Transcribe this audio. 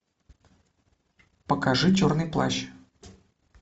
покажи черный плащ